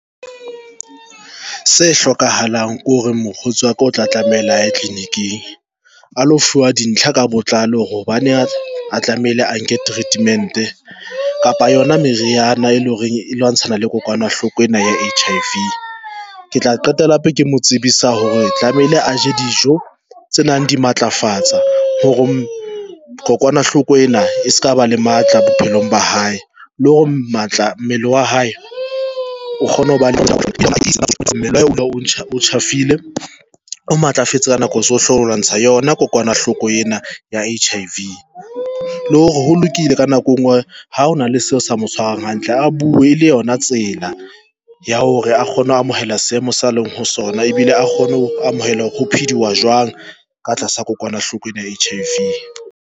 Se hlokahalang ko re, mokgotsi wa ka o tla tlamela aye tlelininiking a lo dintlha ka botlalo hobane a tlamehile a nke treatment kapa yona meriana, e leng hore e lwantshana le kokwanahloko ena ya H_I_V. Ke tla qetela hape ke mo tsebisa hore tlamehile a je dijo tse nang di matlafatsa hore kokwanahloko ena e se kaba, le matla bophelong ba hae le hore matla mmele wa hae o kgone ho ba ile. O matlafetse ka nako tsohle, lwantsha yona kokwanahloko ena ya H_I_V le hore ho lokile ka nako engwe ha hona le seo sa mo tshwarang hantle, a bue le yona tsela ya hore a kgone ho amohela seemo sa leng ho sona ebile a kgone ho amohela ho phediwa jwang ka tlasa kokwanahloko ena ya H_I_V.